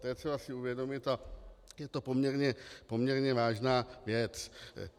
To je třeba si uvědomit a je to poměrně vážná věc.